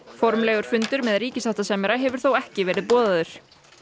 formlegur fundur með ríkissáttasemjara hefur þó ekki verið boðaður